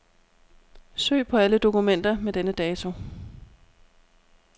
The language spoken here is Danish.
Søg på alle dokumenter med denne dato.